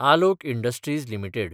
Alok industries limited